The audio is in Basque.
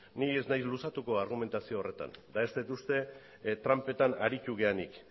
ni ez naiz luzatuko argumentazio horretan ez dut uste tranpetan tranpetan aritu garenik